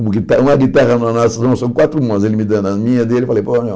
Um guita uma guitarra nas nossas mãos, são quatro mãos, ele me dando a minha dele, eu falei, pô, meu...